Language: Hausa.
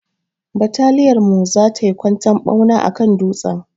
Bataliyar mu za tai kwantan ɓauna akan dutsen.